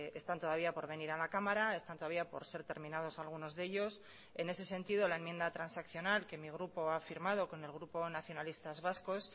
están todavía por venir a la cámara están todavía por ser terminados algunos de ellos en ese sentido la enmienda transaccional que mi grupo ha firmado con el grupo nacionalistas vascos